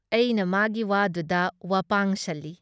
ꯑꯩꯅ ꯃꯥꯒꯤ ꯋꯥꯗꯨꯗ ꯋꯥꯄꯥꯡꯁꯜꯂꯤ